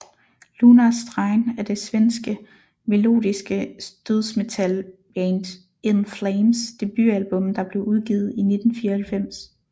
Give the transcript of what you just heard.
Lunar Strain er det svenske melodiske dødsmetalband In Flames debutalbum der blev udgivet i 1994